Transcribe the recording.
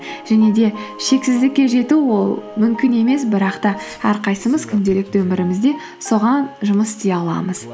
және де шексіздікке жету ол мүмкін емес бірақ та әрқайсымыз күнделікті өмірімізде соған жұмыс істей аламыз